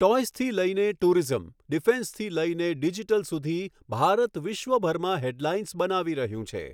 ટોઈઝથી લઈને ટૂરિઝમ, ડિફેન્સથી લઈને ડિજિટલ સુધી, ભારત વિશ્વભરમાં હેડલાઇન્સ બનાવી રહ્યું છે.